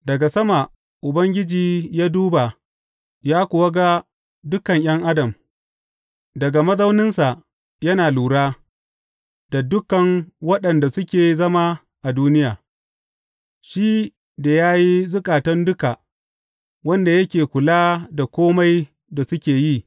Daga sama Ubangiji ya duba ya kuwa ga dukan ’yan adam; daga mazauninsa yana lura da dukan waɗanda suke zama a duniya, shi da ya yi zukatan duka, wanda yake kula da kome da suke yi.